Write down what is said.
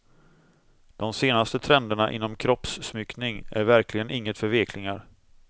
De senaste trenderna inom kroppssmyckning är verkligen inget för veklingar.